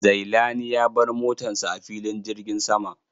Zailani ya bar motan sa a filin jirgin sama.